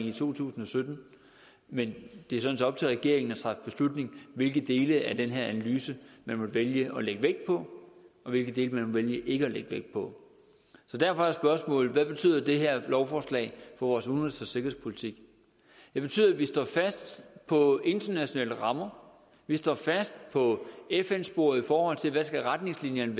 i to tusind og sytten men det er sådan set op til regeringen at træffe beslutning hvilke dele af den her analyse man vil vælge at lægge vægt på og hvilke dele man vil vælge ikke at lægge vægt på så derfor er spørgsmålet hvad betyder det her lovforslag for vores udenrigs og sikkerhedspolitik det betyder at vi står fast på internationale rammer vi står fast på fn sporet i forhold til hvad retningslinjerne